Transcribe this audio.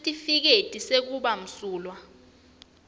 sitifiketi sekuba msulwa